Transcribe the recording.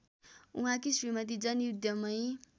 उहाँकी श्रीमती जनयुद्धमै